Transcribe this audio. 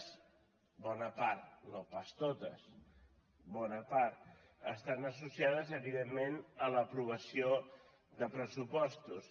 bona part no pas totes bona part estan associades evidentment a l’aprovació de pressupostos